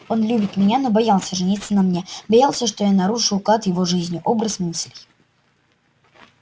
он любит меня но боялся жениться на мне боялся что я нарушу уклад его жизни образ мыслей